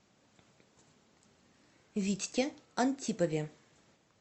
витьке антипове